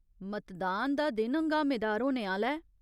मतदान दा दिन हंगामेदार होने आह्‌ला ऐ।